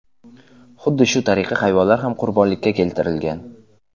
Xuddi shu tariqa hayvonlar ham qurbonlikka keltirilgan.